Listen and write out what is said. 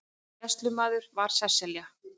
Gæslumaður var Sesselja